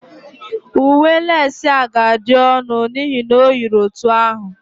Uwe leci a ga-adị ọnụ n'ihi na o yiri otu ahụ